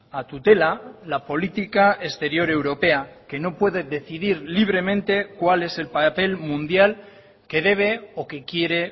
a tutela la política exterior europea que no puede decidir libremente cuál es el papel mundial que debe o que quiere